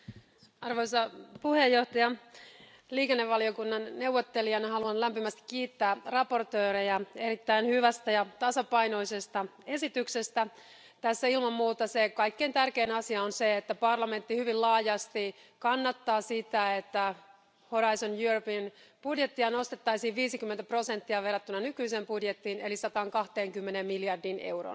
Arvoisa puhemies, liikenne ja matkailuvaliokunnan neuvottelijana haluan lämpimästi kiittää esittelijöitä erittäin hyvästä ja tasapainoisesta esityksestä. Tässä on ilman muuta kaikkein tärkein asia se, että parlamentti hyvin laajasti kannattaa sitä, että Euroopan horisontti ohjelman budjettia nostettaisiin 50 prosenttia verrattuna nykyiseen budjettiin, eli 120 miljardiin euroon.